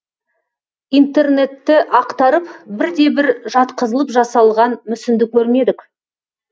интернетті ақтарып бірде бір жатқызылып жасалған мүсінді көрмедік